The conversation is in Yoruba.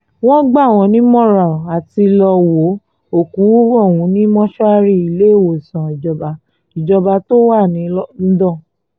wọ́n gbà wọ́n nímọ̀ràn àti lọ́ọ́ wo òkú ọ̀hún ní mọ́ṣúárì iléewòsàn ìjọba ìjọba tó wà londo